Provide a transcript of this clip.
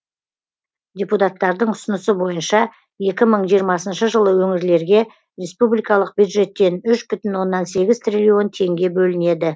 депутаттардың ұсынысы бойынша екі мың жиырмасыншы жылы өңірлерге республикалық бюджеттен үш бүтін оннан сегіз триллион теңге бөлінеді